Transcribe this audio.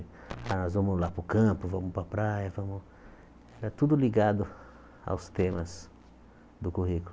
Ah, nós vamos lá para o campo, vamos para a praia, vamos... Era tudo ligado aos temas do currículo.